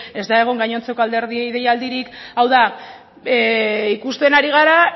ez da egon gainontzeko alderdiei deialdirik hau da ikusten ari gara